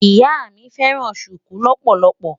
Ìyá mi fẹ́ràn ṣùkú lọ́pọ̀lọpọ̀.